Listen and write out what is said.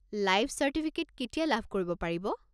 Life certificate কেতিয়া লাভ কৰিব পাৰিব?